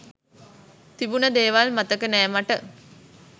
තිබුන ‌දේවල් මතක නෑ මට.